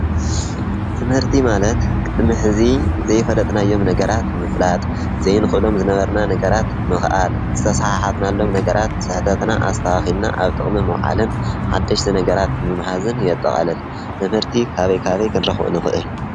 ትምህርቲ ማለት ቅድሚ ሕዚ ዘይፈለጥናዮም ነገራት ምፍላጥ ፣ዘይንክሎም ነገር ዝነበርና ምኽኣል፣ ዝተሰሓሓትናሎም ነገራት ስሕተትና ኣስተኻኺልና ኣብ ጥቅሚ ምውዓልን ሓደሽቲ ነገራት ምምሃዝን የጠቃልል። ትምርቲ ካበይ ካበይ ክረኽቦ ንኽእል?